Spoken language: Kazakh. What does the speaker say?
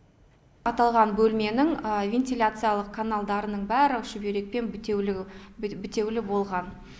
аталған бөлменің вентиляциялық каналдарының бәрі шүберекпен бітеулі бітеулі болған